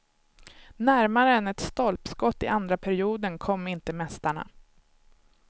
Närmare än ett stolpskott i andra perioden kom inte mästarna.